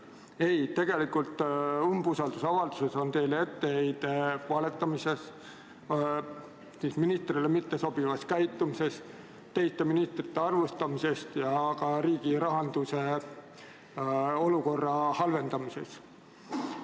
Ei, tegelikult on umbusaldusavaldus etteheide valetamises, ministrile mittesobivas käitumises, teiste ministrite halvustamises ja ka riigi rahanduse olukorra halvendamises.